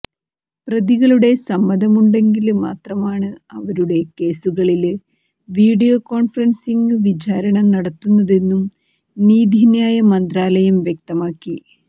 പ്രതികളുടെ സമ്മതമുണ്ടെങ്കില് മാത്രമാണ് അവരുടെ കേസുകളില് വീഡിയോ കോണ്ഫറന്സിംഗ് വിചാരണ നടത്തുന്നതെന്നും നീതിന്യായ മന്ത്രാലയം വ്യക്തമാക്കി